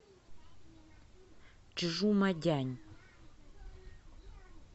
чжумадянь